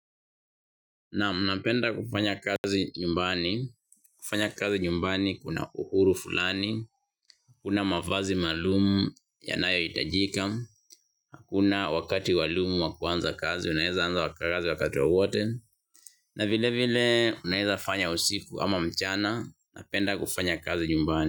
Naam, napenda kufanya kazi nyumbani, kufanya kazi nyumbani kuna uhuru fulani, hakuna mavazi maalumu yanayohitajika, hakuna wakati maalumu wa kuanza kazi, unaweza anza kazi wakati wowote, na vilevile unaweza fanya usiku ama mchana, unapenda kufanya kazi nyumbani.